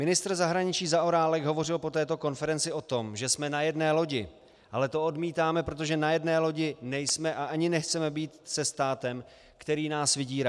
Ministr zahraničí Zaorálek hovořil po této konferenci o tom, že jsme na jedné lodi, ale to odmítáme, protože na jedné lodi nejsme a ani nechceme být se státem, který nás vydírá.